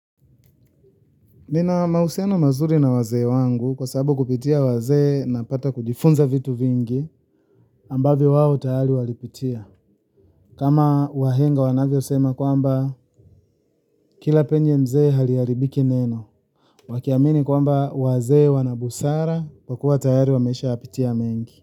Nina mahusiano mazuri na wazee wangu kwa sababu kupitia wazee napata kujifunza vitu vingi ambavyo wao tayari walipitia kama wahenga wanavyosema kwamba kila penye mzee haliharibiki neno wakiamini kwamba wazee wana busara kwa kuwa tayari wameshayapitia mengi.